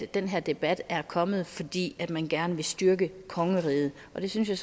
den her debat er kommet fordi man gerne vil styrke kongeriget og det synes jeg